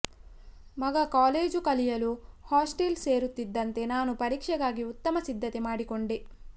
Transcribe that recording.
ಮಗ ಕಾಲೇಜ್ ಕಲಿಯಲು ಹಾಸ್ಟೆಲ್ ಸೇರುತ್ತಿದ್ದಂತೆ ನಾನು ಪರೀಕ್ಷೆಗಾಗಿ ಉತ್ತಮ ಸಿದ್ಧತೆ ಮಾಡಿಕೊಂಡೆ